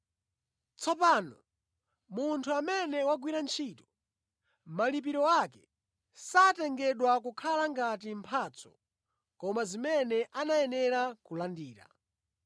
Tsopano munthu amene wagwira ntchito, malipiro ake satengedwa kukhala ngati mphatso koma zimene anayenera kulandira.